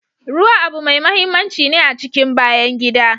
Ruwa abu mai mahimmanci ne a cikin bayan gida.